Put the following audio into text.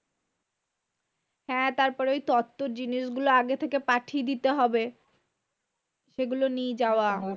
হ্যাঁ তার পরে ওই তত্ত্বর জিনিশগুলো আগে থেকে পাঠিয়ে দিতে হবে। সেগুলো নিয়ে যাওয়া।